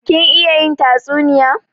Kin iya yin tatsuniya?